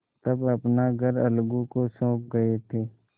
तब अपना घर अलगू को सौंप गये थे